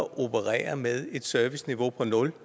operere med et serviceniveau på nul